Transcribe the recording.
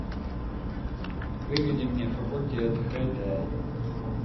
выведи мне факультет хэ дэ